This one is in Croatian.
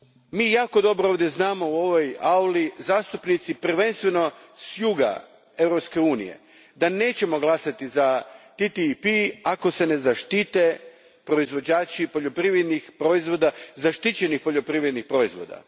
Mi jako dobro ovdje znamo, u ovoj auli, zastupnici prvenstveno s juga Europske unije, da nećemo glasati za TTIP ako se ne zaštite proizvođači poljoprivrednih proizvoda, zaštićenih poljoprivrednih proizvoda.